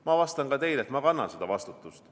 Ma vastan ka teile, et ma kannan seda vastutust.